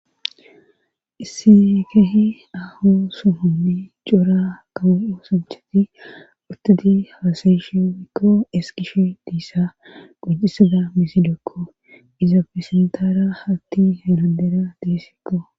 Isi kehi aho suhunni cora kawo'u sunchati utadi haasayeshe mikko eskishe diissa gojisada misidokko izaafesentara hatti heladera deesikko